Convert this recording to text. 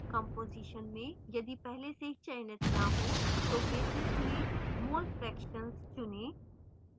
composition में यदि पहले से चयनित न हो तो basis में mole fractions चुनें